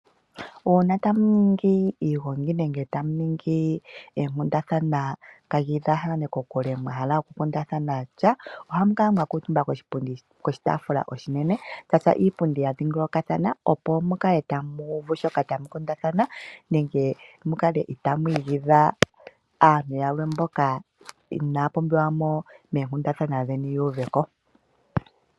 Uuna tamu ningi iilongi nenge tamu ningi oonkundathana kamu lyaathane kokule mwahala oku kundathana sha ohamu kala ngaa mwakuuutumba koshipunditi, koshitaafula ishinene mwatya iipundi ya dhingolokathano opo mukale tamu uvu shoka tamu kundathana nenge mukale tamu igidha aantu yamwe mboka inaya pumbiwa moonkundathana dheni yu uveko.